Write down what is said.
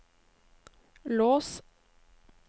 lås